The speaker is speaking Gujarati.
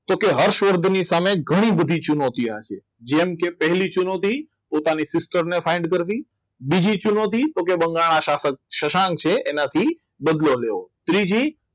તો કે હર્ષવર્ધનની સામે ઘણી બધી ચુનોતી આપી જેમ કે પહેલી ચુનોથી પોતાની sister ને find કરવી બીજી ચુનોથી તો કે બંગાળના શાસન સત્સંગ છે એનાથી બદલો લેવો ત્રીજી